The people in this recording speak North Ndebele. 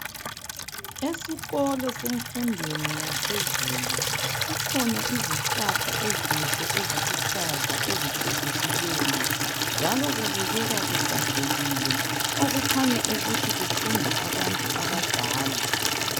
Esikolo semfundweni yaphezulu, kukhona izihlahla ezinhle eziluhlaza ezicecisileyo, njalo kubukeka kuhlanzekile, okukhanya ukuthi kufunda abantu abadala.